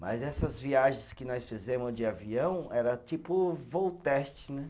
Mas essas viagens que nós fizemos de avião era tipo voo teste, né?